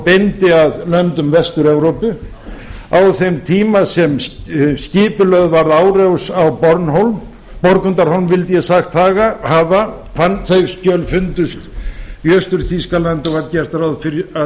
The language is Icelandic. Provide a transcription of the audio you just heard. beindi að löndum vestur evrópu á þeim tíma sem skipulögð var árás á borgundarhólm þau skjöl fundust í austur þýskalandi og var gert ráð fyrir að